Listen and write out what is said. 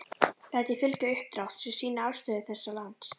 Læt ég fylgja uppdrátt., sem sýnir afstöðu þessa lands.